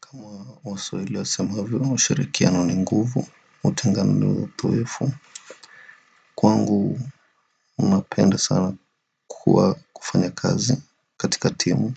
Kama waswaili wasemavyo usharikiano ni nguvu, utengano ni watuwefu. Kwangu enda sana kuwa kufanya kazi katika timu.